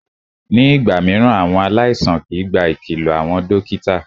Ní ìgbà mìíràn, àwọn aláìsàn kìí gba ìkìlọ àwọn dókítà.